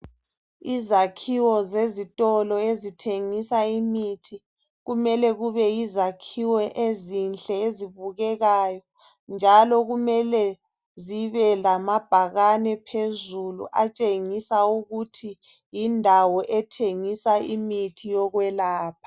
Izakhiwo zezitolo ezithengisa imithi, kumele kube yizakhiwo ezinhle ezibukekayo. Njalo kumele zibelamabhakane phezulu atshengisa ukuthi yindawo ethingisa imithi yokwelapha.